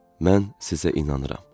Mən sizə inanıram.